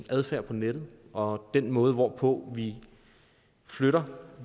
adfærd på nettet og den måde hvorpå vi flytter